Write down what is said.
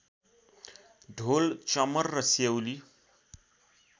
ढोल चमर र सेउली